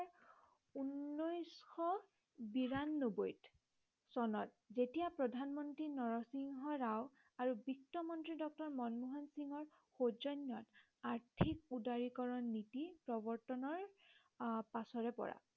বিৰানব্বৈ চনত যেতিয়া প্ৰধান মন্ত্ৰী নৰসিংহ ৰাও আৰু বিত্ত মন্ত্ৰী ড মনমোহন সিংৰ সৌজন্য়ত আৰ্থিক উদাৰিকৰণ নীতি প্ৰৱৰ্তনৰ আহ পাছৰে পৰা